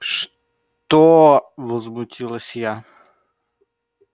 что возмутилась я